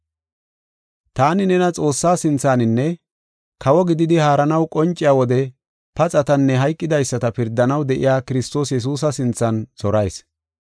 Taani nena Xoossaa sinthaninne, kawo gididi haaranaw qonciya wode paxatanne hayqidaysata pirdanaw de7iya Kiristoos Yesuusa sinthan zorayis.